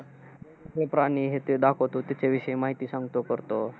हे प्राणी, हे ते दाखवतो. त्याच्याविषयी माहिती सांगतो तर तो,